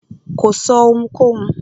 Kò sọ́ ohunkóhun.